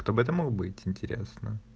кто бы это мог быть интересно